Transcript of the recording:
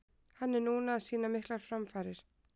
Hann er núna að sýna miklar framfarir.